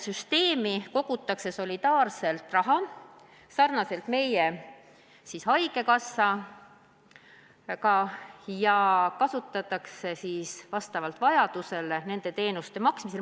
Süsteemi kogutakse raha solidaarselt nagu meie haigekassa puhul ja seda kasutatakse vastavalt vajadusele teenuste eest maksmiseks.